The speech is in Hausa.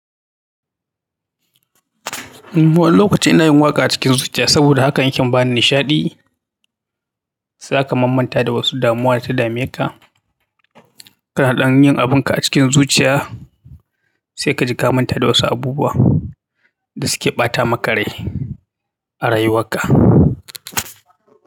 Wani lokaci ina yin waƙa a cikin zuciya saboda haka yakan bani nishaɗi zaka mamanta da wasu damuwa da ta dameka. Kana ɗan yin abunka a cikin zuciya sai ka ji ka manta da wasu abubuwa da suke ɓata maka rai a rayuwarka.